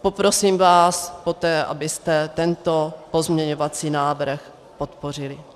Poprosím vás poté, abyste tento pozměňovací návrh podpořili.